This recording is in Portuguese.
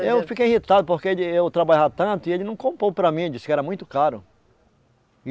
Eu fiquei irritado porque eu trabalhava tanto e ele não comprou para mim, ele disse que era muito caro. e